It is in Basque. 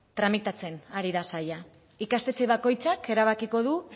tramitatzen ari da saila ikastetxe bakoitzak erabakiko du